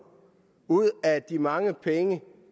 ud af de mange penge